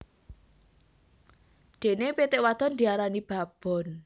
Dene pitik wadon diarani babon